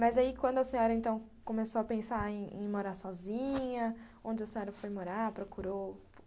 Mas aí, quando a senhora então começou a pensar em em morar sozinha, onde a senhora foi morar, procurou?